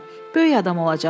Böyük adam olacaqsan.